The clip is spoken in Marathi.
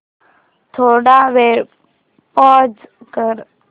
थोडा वेळ पॉझ कर